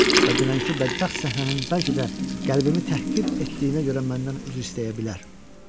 Və dünənki bədbəxt səhnənin bəlkə də qəlbimi təhqir etdiyinə görə məndən üzr istəyə bilər.